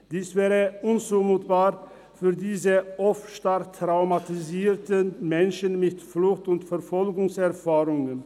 Dies wäre unzumutbar für diese oft stark traumatisierten Menschen mit Flucht- und Verfolgungserfahrungen.